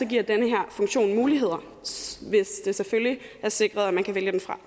giver den her funktion muligheder hvis det selvfølgelig er sikret at man kan vælge den fra